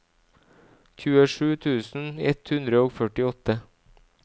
tjuesju tusen ett hundre og førtiåtte